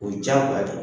O ye diyagoya de ye